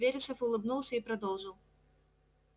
вересов улыбнулся и продолжил